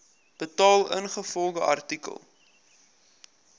betaal ingevolge artikel